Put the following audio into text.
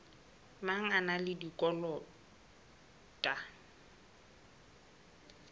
mang a na le dikotola